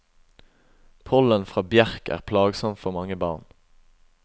Pollen fra bjerk er plagsomt for mange barn.